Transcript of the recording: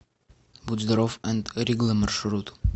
будь здоров энд ригла маршрут